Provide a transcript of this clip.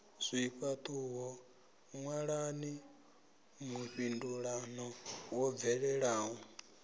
zwifhaṱuwo ṅwalani mufhindulano wo bvelelaho